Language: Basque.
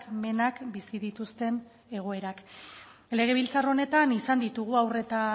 menak bizi dituzten egoerak legebiltzar honetan izan ditugu haur eta